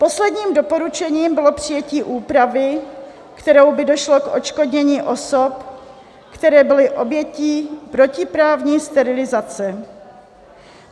Posledním doporučením bylo přijetí úpravy, kterou by došlo k odškodnění osob, které byly obětí protiprávní sterilizace.